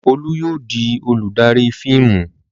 Olú yóò di olùdarí fíìmù!